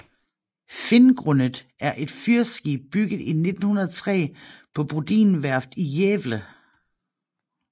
Finngrundet er et fyrskib bygget i 1903 på Brodin Værft i Gävle